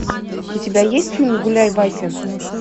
у тебя есть фильм гуляй вася